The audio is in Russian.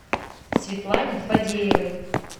светлане фадеевой